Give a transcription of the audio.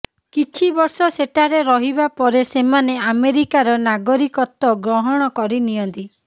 କିଛି ବର୍ଷ ସେଠାରେ ରହିବା ପରେ ସେମାନେ ଆମେରିକାର ନାଗରିକତ୍ୱ ଗ୍ରହଣ କରିନିଅନ୍ତି